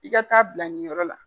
I ka taa bila nin yɔrɔ la.